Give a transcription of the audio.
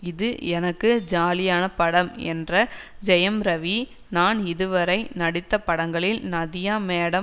இது எனக்கு ஜாலியான படம் என்ற ஜெயம் ரவி நான் இதுவரை நடித்த படங்களில் நதியா மேடம்